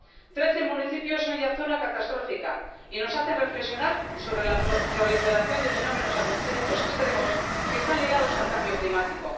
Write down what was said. Trece municipios son ya zona catastrófica y nos hacen reflexionar sobre la proliferación de fenómenos atmosféricos extremos que están ligados al cambio climático.